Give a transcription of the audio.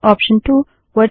command 2 option 1